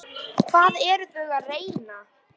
Hvað eru þau að reyna?